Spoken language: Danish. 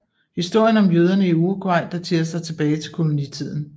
Historien om jøderne i Uruguay daterer sig tilbage til kolonitiden